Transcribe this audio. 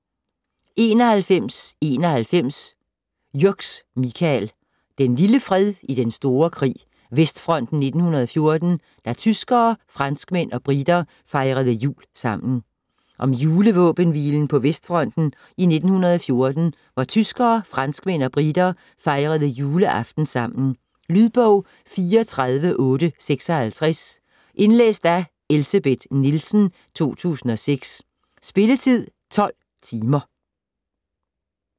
91.91 Jürgs, Michael: Den lille fred i den store krig: Vestfronten 1914 - da tyskere, franskmænd og briter fejrede jul sammen Om julevåbenhvilen på Vestfronten i 1914 hvor tyskere, franskmænd og briter fejrede juleaften sammen. Lydbog 34856 Indlæst af Elsebeth Nielsen, 2006. Spilletid: 12 timer, 0 minutter.